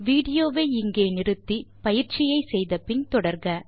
விடியோவை இங்கே இடை நிறுத்தி பயிற்சியை செய்து பின் தொடர்க